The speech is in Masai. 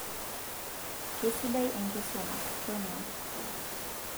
keisidai enkisuma tonyua